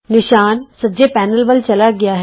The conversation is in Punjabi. ਨਿਸ਼ਾਨ ਸੱਜੇ ਪੈਨਲ ਵਲ ਚਲਾ ਗਿਆ ਹੈ